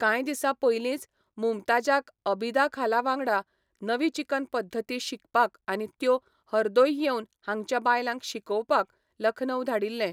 कांयदिसा पयलींच मुमताजाक अबिदा खाला वांगडा नवीचिकन पद्दती शिकपाक आनी त्यो हर्दोय येवन हांगच्या बायलांक शिकोवपाक लखनौ धाडिल्लें.